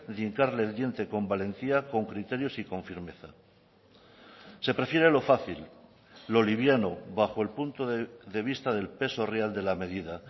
de hincarle el diente con valentía con criterios y con firmeza se prefiere lo fácil lo liviano bajo el punto de vista del peso real de la medida